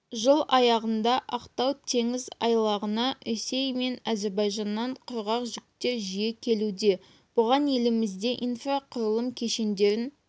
жыл аяғында ақтау теңіз айлағына ресей мен әзербайжаннан құрғақ жүктер жиі келуде бұған елімізде инфрақұрылым кешендерін